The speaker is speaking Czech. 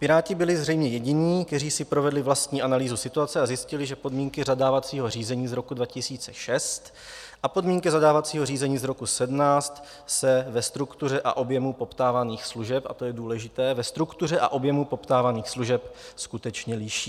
Piráti byli zřejmě jediní, kteří si provedli vlastní analýzu situace a zjistili, že podmínky zadávacího řízení z roku 2006 a podmínky zadávacího řízení z roku 2017 se ve struktuře a objemu poptávaných služeb - a to je důležité - ve struktuře a objemu poptávaných služeb skutečně liší.